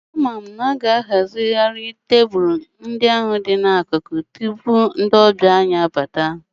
Ama m na ọ ga-ahazigharị sáyid tebụlu tupu ndị ọbịa anyị abata